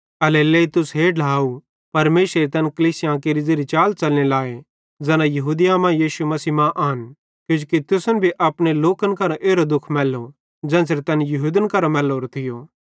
एल्हेरेलेइ तुस हे ढ्लाव परमेशरेरी तैन कलीसियां केरि ज़ेरी चाल च़लने लाए ज़ैना यहूदिया मां यीशु मसीह मां आन किजोकि तुसन भी अपने लोकन करां एरो दुःख मैल्लो ज़ेन्च़रे तैन यहूदन करां मैल्लोरो थियो